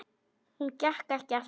Hún gekk ekki aftur.